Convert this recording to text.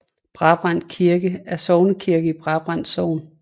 Brabrand Kirke er sognekirken i Brabrand Sogn